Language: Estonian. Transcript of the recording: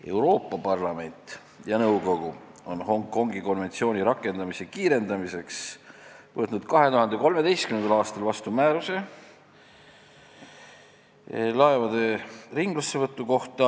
Euroopa Parlament ja nõukogu on Hongkongi konventsiooni rakendamise kiirendamiseks võtnud 2013. aastal vastu määruse laevade ringlussevõtu kohta.